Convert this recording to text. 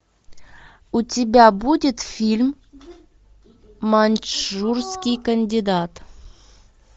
у тебя будет фильм маньчжурский кандидат